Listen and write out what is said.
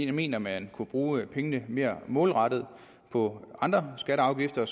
vi mener man kunne bruge pengene mere målrettet på andre skatter og afgifter